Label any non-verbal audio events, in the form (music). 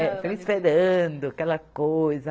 (unintelligible) esperando, aquela coisa.